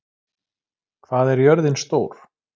, hvað er jörðin stór?